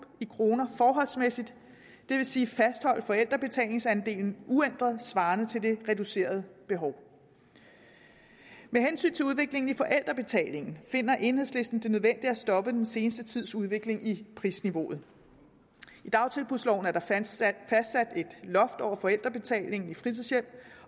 i kroner forholdsmæssigt det vil sige fastholde forældrebetalingsandelen uændret svarende til det reducerede behov med hensyn til udviklingen i forældrebetalingen finder enhedslisten det nødvendigt at stoppe den seneste tids udvikling i prisniveauet i dagtilbudsloven er der fastsat et loft over forældrebetalingen i fritidshjem